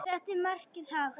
Settu markið hátt.